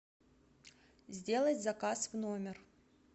сделать заказ в номер